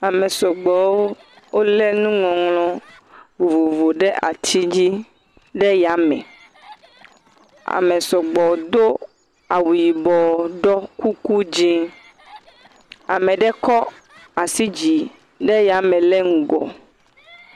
Ame sɔgbɔwo wolé nuŋɔŋlɔ vovovo ɖe ati dzi ɖe yame. Ame sɔgbɔ ɖo kuku dzɛ̃ ame aɖe kɔ asi dzi ɖe yame le ŋgɔ.